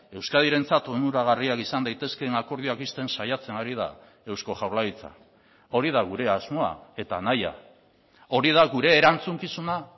euskadirentzat onuragarriak izan daitezkeen akordioak ixten saiatzen ari da eusko jaurlaritza hori da gure asmoa eta nahia hori da gure erantzukizuna